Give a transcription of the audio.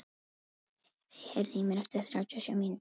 Evey, heyrðu í mér eftir þrjátíu og sjö mínútur.